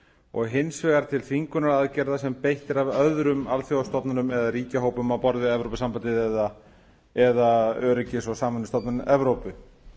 og hins vegar til þvingunaraðgerða sem beitt er af öðrum alþjóðastofnunum eða ríkjahópum á borð við evrópusambandið eða öryggis og samvinnustofnun evrópu